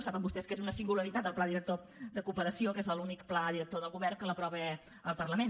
saben vostès que és una singularitat del pla director de cooperació que és l’únic pla director del govern que l’aprova el parlament